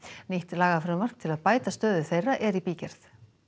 nýtt lagafrumvarp til að bæta stöðu þeirra er í bígerð